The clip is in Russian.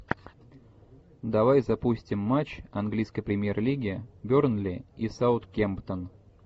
давай запустим матч английской премьер лиги бернли и саутгемптон